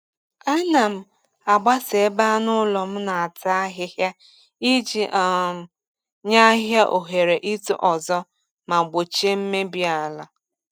Ana m agbasa ebe anụ ụlọ na-ata ahịhịa iji um nye ahịhịa ohere ito ọzọ ma gbochie mmebi ala.